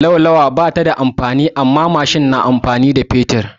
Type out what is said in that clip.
Laulawa ba ta amfani da mai amma babur na amfani da fetur.